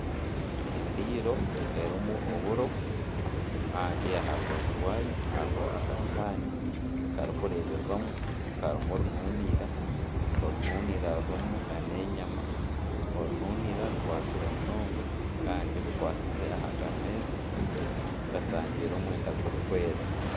Endiiro erimu oburo kandi aha rubaju rwayo hariho akasuwaani karikureebwamu karimu rununiira, orununiira rurimu nana enyama, orununiira rukwatsire munonga kandi bikwatsize aha kameeza kashangiire omwenda gurikwera